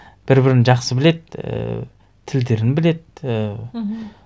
бір бірін жақсы біледі ііі тілдерін біледі і мхм